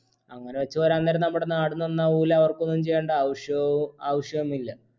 അങ്ങനെ വച്ച് പറയാൻ നേരം നമ്മുടെ നാട് നന്നാവൂല്ല അവർക്കൊന്നും ചെയ്യേണ്ട അവശ്യോ ആവശ്യവും ഇല്ല